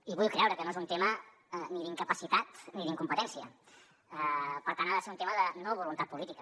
i vull creure que no és un tema ni d’incapacitat ni d’incompetència per tant ha de ser un tema de no voluntat política